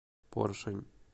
поршень